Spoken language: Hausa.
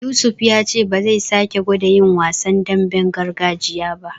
Yusuf ya ce ba zai sake gwada yin wasan damben gargajiya ba.